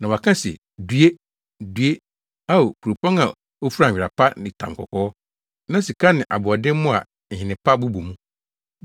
na wɔaka se: “ ‘Due! Due, Ao, kuropɔn a ofura nwera pa ne tamkɔkɔɔ na sika ne aboɔdenmmo a nhene pa bobɔ mu.